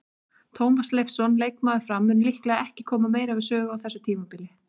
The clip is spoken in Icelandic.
Tómas Leifsson, leikmaður Fram, mun líklega ekki koma meira við sögu á þessu tímabili.